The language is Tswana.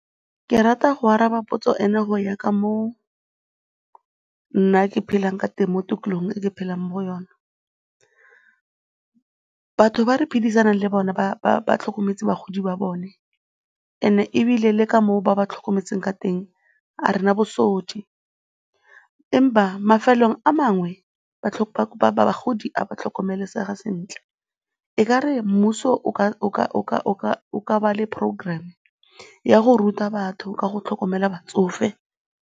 Ke rata go araba potso ena go ya ka mo nna ke phelang ka teng mo tikologong e ke phelang mo go yone. Batho ba re phedisanang le bone ba tlhokometse bagodi ba bone and-e ebile le ka moo ba ba tlhokometseng ka teng ga re na bosodi, empa mafelong a mangwe bagodi ga ba a tlhokomelesega sentle. E ka re mmuso o ka ba le program ya go ruta batho ka go tlhokomela batsofe.